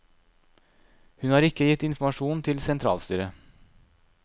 Hun har ikke gitt informasjon til sentralstyret.